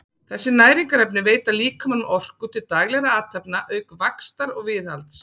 þessi næringarefni veita líkamanum orku til daglegra athafna auk vaxtar og viðhalds